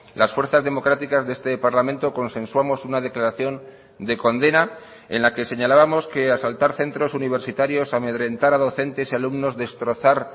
las fuerzas democráticas de este parlamento consensuamos una declaración de condena en la que señalábamos que asaltar centros universitarios amedrentar a docentes y alumnos destrozar